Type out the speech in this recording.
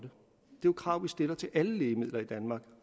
jo krav vi stiller til alle lægemidler i danmark